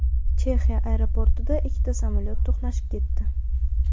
Chexiya aeroportida ikkita samolyot to‘qnashib ketdi.